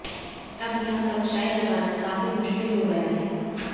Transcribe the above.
अब यहां कक्षाएं लगाना काफी मुश्किल हो गया है